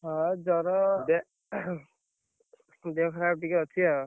ହଁ, ଜର ଦେ~ ଦେହ ଖରାପ ଟିକେ ଅଛି ଆଉ।